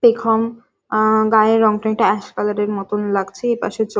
পেখম উম গায়ের রং তা একটু অ্যাশ কালার মতন লাগছে এপাশে চোখ।